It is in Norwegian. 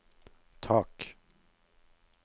tak